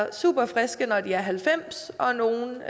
er super friske når de er halvfems år og nogle